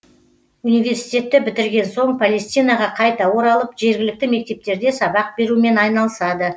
университетті бітірген соң палестинаға қайта оралып жергілікті мектептерде сабақ берумен айналысады